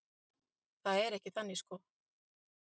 Það er ekki þannig sko.